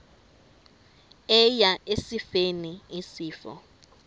eya esifeni isifo